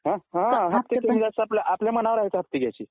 हां आपल्या मनावर आहे हफ्ते घ्यायचे